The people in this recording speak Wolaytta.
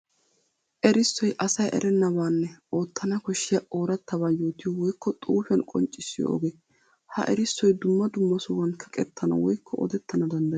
Erissoy asayi erenabaanne ootanna koshiya oraattaba yootiyo woykko xuufiyan qonccissiyo ogee. Ha erissoy dumma dumma sohuwan kaqettanna woykko odettana danddayees.